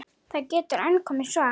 Það getur enn komið svar!